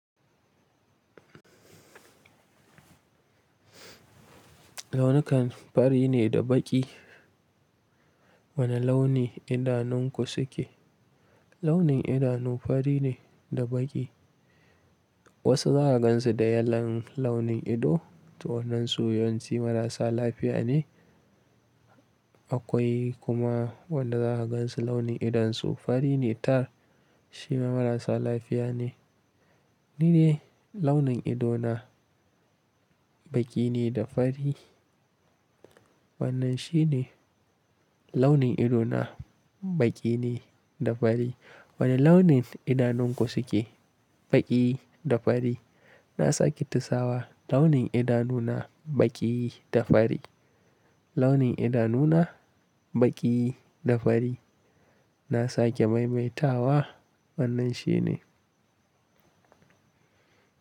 Launukan fari ne da baƙi. Wane launi idanunku suke? Launin idanu fari ne da baƙi. Wasu za ka gansu da yellon launin ido, to wannan su yawanci marasa lafiya ne. Akwai kuma wanda za ka gansu launin idonsu fari ne tar shima marasa lafiya ne. Ni dai launin ido na baƙi ne da fari. Wannan shi ne launin ido na baƙi ne da fari. Wane launin idanunku suke? Baƙi da fari. Na sake tusawa launin idanu na baƙi da fari. Launin idanu na baƙi da fari. Na sake maimaita wa wannan shi ne.